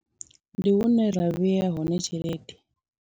Ndi hune ra vhea hone tshelede.